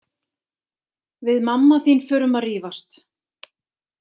Við mamma þín förum að rífast.